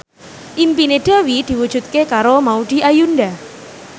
impine Dewi diwujudke karo Maudy Ayunda